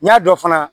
N y'a dɔn fana